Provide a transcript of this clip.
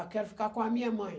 Ah, quero ficar com a minha mãe.